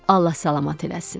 Allah salamat eləsin.